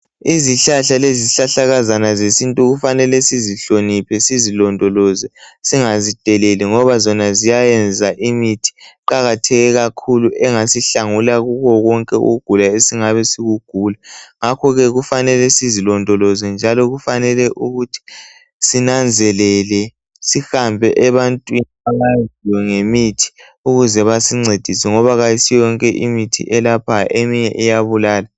Izihlahla lezihlahlakazana zesintu kufanelele sizihlonophe sizilondoloze singazideleli ngobazona zenza imithi iqakatheke kakhulu engasihlangula kikho konke ukugulala esingabe sikukugulala ngakhokeke kufanele sizilondoloze njalo kufanele sinanzelele sihambe ebantwini abaziyo ngemithi ukuze basincedise ngoba ayisiyo yonke imithi eyelaphayo eminye iyabulala.